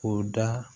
O da